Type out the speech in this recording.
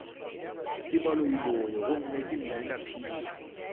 ke baloiloi gomme ke mminaphiri